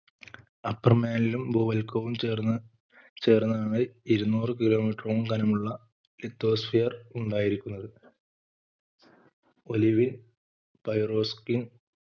upper mantle ഭൂവൽക്കവും ചേർന്ന് ചേർന്നാണ് ഇരുന്നൂറ് kilometer ഓളം കനമുള്ള lithosphere ഉണ്ടായിരിക്കുന്നത് olivine pyroxene